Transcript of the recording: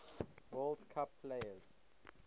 world cup players